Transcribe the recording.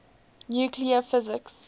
nuclear physics